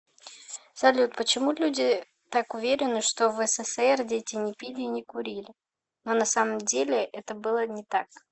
салют почему люди так уверены что в ссср дети не пили и не курили но на самом деле это было не так